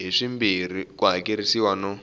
hi swimbirhi ku hakerisiwa no